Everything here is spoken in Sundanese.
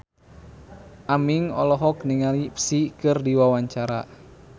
Aming olohok ningali Psy keur diwawancara